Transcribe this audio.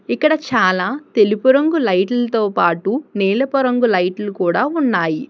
ఇక్కడ చాలా తెలుపు రంగు లైట్లుతో పాటు నీలపు రంగు లైట్లు కూడా ఉన్నాయి.